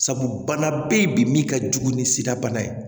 Sabu bana bɛ yen bi min ka jugu ni sida bana ye